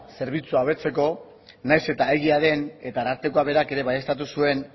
zerbitzua hobetzeko nahiz eta egia den eta arartekoak berak ere baieztatu zuen